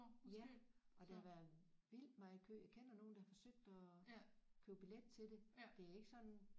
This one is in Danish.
Ja og der var vildt meget kø jeg kender nogen der forsøgte at købe billet til det det er ikke sådan